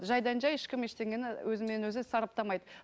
жайдан жай ешкім ештеңені өзімен өзі сараптамайды